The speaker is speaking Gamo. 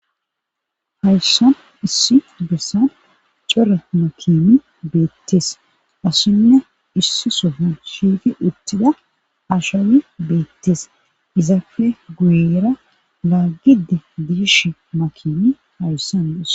hayssan issi bessan core makimi beettis asinne issi sofan shiiti uttida ashawi beettis izafe guyera laaggidi diishi makimi hayssanades